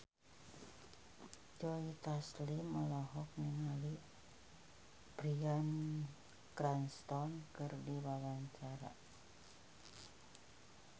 Joe Taslim olohok ningali Bryan Cranston keur diwawancara